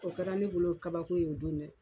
O kɛra ne bolo kabako ye o don.